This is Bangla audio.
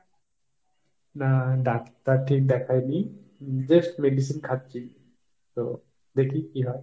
না ডাক্তার ঠিক দেখায়নি, just medicine খাচ্ছি। তো দেখি কী হয়।